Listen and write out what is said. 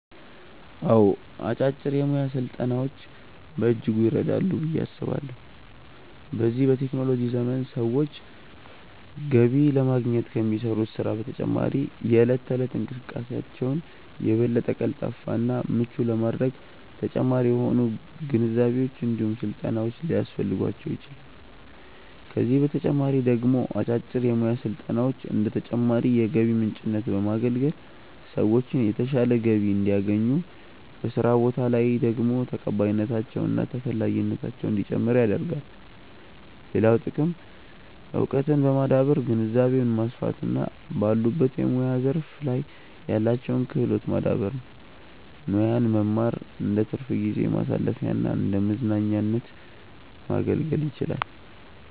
አዎ አጫጭር የሙያ ስልጠናዎች በእጅጉ ይረዳሉ ብዬ አስባለሁ። በዚህ በቴክኖሎጂ ዘመን ሰዎች ገቢ ለማግኘት ከሚሰሩት ስራ በተጨማሪ የእለት ተእለት እንቅስቃሴያቸውን የበለጠ ቀልጣፋ እና ምቹ ለማድረግ ተጨማሪ የሆኑ ግንዛቤዎች እንዲሁም ስልጠናዎች ሊያስፈልጓቸው ይችላል፤ ከዚህ በተጨማሪ ደግሞ አጫጭር የሙያ ስልጠናዎች እንደ ተጨማሪ የገቢ ምንጭነት በማገልገል ሰዎችን የተሻለ ገቢ እንዲያገኙ፤ በስራ ቦታ ላይ ደግሞ ተቀባይነታቸው እና ተፈላጊነታቸው እንዲጨምር ያደርጋል። ሌላው ጥቅም እውቀትን በማዳበር ግንዛቤን ማስፋት እና ባሉበት የሙያ ዘርፍ ላይ ያላቸውን ክህሎት ማዳበር ነው። ሙያን መማር እንደትርፍ ጊዜ ማሳለፊያና እንደመዝናኛነት ማገልገል ይችላል።